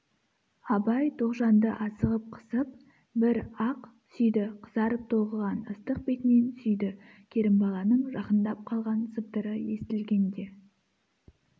абай тоғжанды асығып қысып бір-ақ сүйді қызарып толқыған ыстық бетінен сүйді керімбаланың жақындап қалған сыбдыры естілгенде